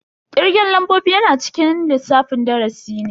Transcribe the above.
Kirgen lambobi yana cikin lissafin darasi ne.